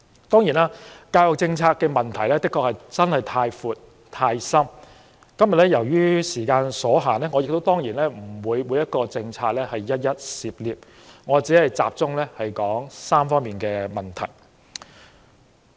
當然，教育政策問題的確太深太闊，而今天由於時間所限，我當然不會涉獵每項政策，我只會集中說3方面的問題。